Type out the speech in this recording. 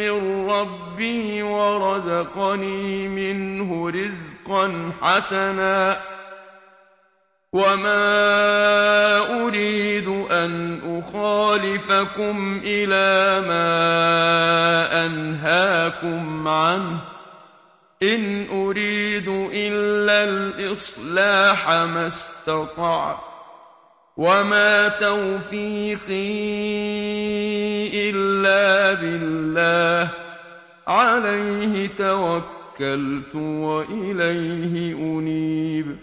مِّن رَّبِّي وَرَزَقَنِي مِنْهُ رِزْقًا حَسَنًا ۚ وَمَا أُرِيدُ أَنْ أُخَالِفَكُمْ إِلَىٰ مَا أَنْهَاكُمْ عَنْهُ ۚ إِنْ أُرِيدُ إِلَّا الْإِصْلَاحَ مَا اسْتَطَعْتُ ۚ وَمَا تَوْفِيقِي إِلَّا بِاللَّهِ ۚ عَلَيْهِ تَوَكَّلْتُ وَإِلَيْهِ أُنِيبُ